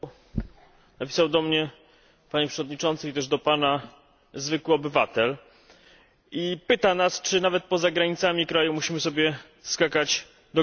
Napisał do mnie, Panie Przewodniczący, i też do Pana, zwykły obywatel i pyta nas, czy nawet poza granicami kraju musimy sobie skakać do gardła.